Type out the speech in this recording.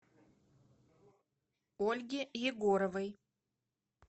ольге егоровой